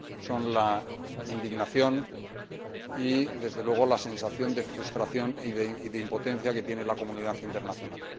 son la indignación y, desde luego, la sensación de frustración y de impotencia que tiene la comunidad internacional.